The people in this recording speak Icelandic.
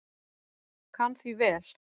Kann því vel.